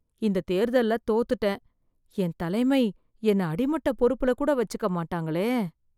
இந்த தேர்தல்ல தோத்துட்டேன், என் தலைமை என்ன அடிமட்ட பொறுப்புல கூட வச்சிக்க மாட்டாங்களே.